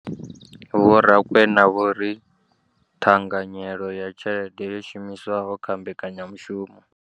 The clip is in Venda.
Vho Rakwena vho ri ṱhanganyelo ya tshelede yo shumiswaho kha mbekanyamushumo.